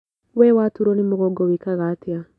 We watuurwo nĩ mũgongo wĩkaga atĩa?